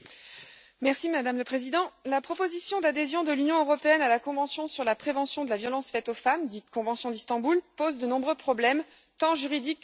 Madame la Présidente, la proposition d'adhésion de l'Union européenne à la convention sur la prévention de la violence faite aux femmes, dite convention d'Istanbul, pose de nombreux problèmes tant juridiques que politiques.